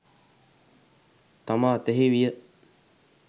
තම අතෙහි විය.